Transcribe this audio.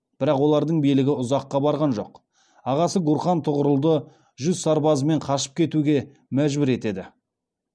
бірақ олардың билігі ұзаққа барған жоқ ағасы гурхан тұғырылды жүз сарбазымен қашып кетуге мәжбүр етеді